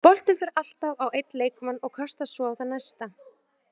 Boltinn fer alltaf á einn leikmann og kastast svo á þann næsta.